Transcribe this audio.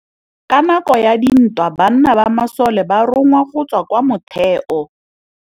Ka nakô ya dintwa banna ba masole ba rongwa go tswa kwa mothêô.